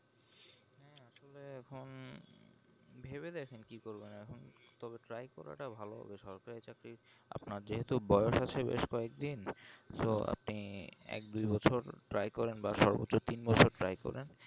এখন ভেবে দেখেন কি করবেন এখন তবে try করাটা ভালো হবে সরকারি চাকরি আপনার যেহেতু বয়স আছে বেশ কয়েকদিন তো আপনি এক দুই বছর try করেন বা সর্বোচ তিন বছর try করেন